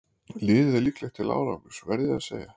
Liðið er líklegt til árangurs verð ég að segja.